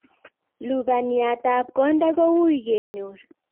Lubaniatab konda kouy kenyor